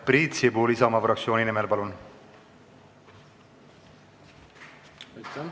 Priit Sibul Isamaa fraktsiooni nimel, palun!